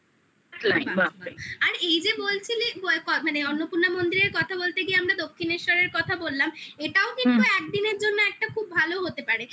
আর এই যে বলছিলি মানে অন্নপূর্ণা মন্দিরের কথা বলতে গিয়ে আমরা দক্ষিনেশ্বরের কথা বললাম কিন্তু একদিনের জন্য একটা খুব ভালো হতে পারে